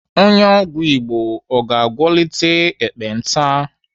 Onye ọgwụ Igbo ọ ga-agwọtali ekpenta?